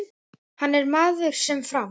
Hann er maður sem fram